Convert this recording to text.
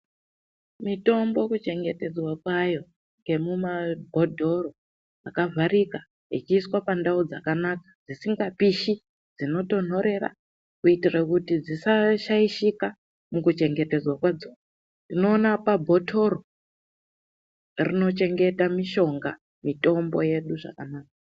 Mitombo kuchengetedzwa kwayo yemumabhodhoro akavharika echiiswa pandau dzakanaka, dzisingapishi dzinotonthorera. Kuitira kuti dzisashaishika, mukuchengetedzwa kwadzo. Tinoona pabhothoro rinochengeta mishonga, mitombo yedu zvakanaka.